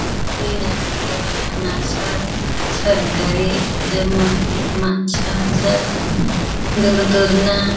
धुयाना दवाखाना अस सरकारी तेमा मानस ज दुरदुर ना--